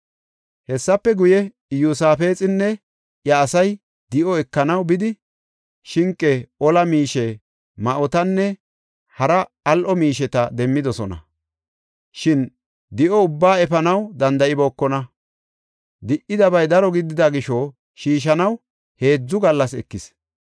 Hessafe guye, Iyosaafexinne iya asay di7o ekanaw bidi shinqe, ola miishe, ma7otanne hara al7o miisheta demmidosona. Shin di7o ubbaa efanaw danda7ibookona; di77idabay daro gidida gisho shiishanaw heedzu gallas ekis.